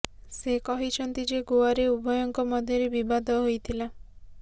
ସେ କହିଛନ୍ତି ଯେ ଗୋଆରେ ଉଭୟଙ୍କ ମଧ୍ୟରେ ବିବାଦ ହୋଇଥିଲା